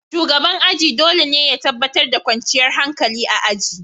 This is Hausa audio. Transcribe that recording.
Shugaban aji dole ne ya tabbatar da kwanciyar hankali a aji.